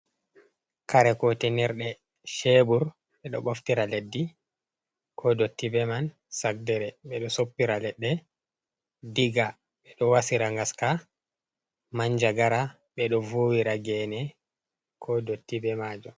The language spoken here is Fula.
Kare kotinirde shebur ɓeɗo ɓoftira leddi ko dotti be man, saddere ɓeɗo soppira leɗɗe, diga ɓeɗo wasira ngaska, manjagara ɓeɗo vowira gene ko dotti be majum.